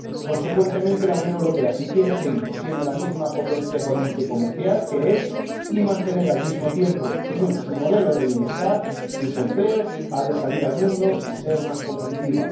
Consecuentemente, la Unión Europea, si quiere seguir siendo la misma potencia económica y comercial que es y mantener al mismo tiempo su modelo de bienestar, sus empleos, ha de salir al mundo y ser más competitiva.